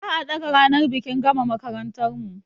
Za a ɗaga ranar bikin gama makarantar mu